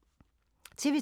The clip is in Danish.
TV 2